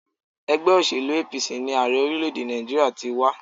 Ègbé òṣèlú APC ni Ààrẹ orílé èdè Nàìjíríà ti wá